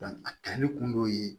a kɛli kun dɔw ye